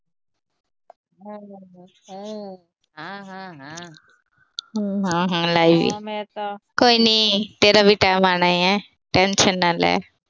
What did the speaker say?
ਹੂੰ, ਹਾਂ ਲੈ ਈ ਲਈ। ਕੋਈ ਨੀ, ਤੇਰਾ ਵੀ ਟਾਈਮ ਆਉਣਾ ਈ ਏ, ਟੈਸ਼ਨ ਨਾ ਲੈ।